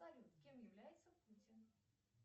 салют кем является путин